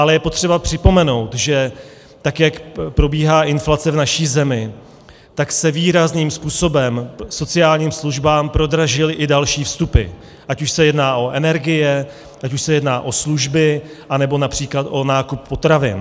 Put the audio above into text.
Ale je potřeba připomenout, že tak jak probíhá inflace v naší zemi, tak se výrazným způsobem sociálním službám prodražily i další vstupy, ať už se jedná o energie, ať už se jedná o služby, anebo například o nákup potravin.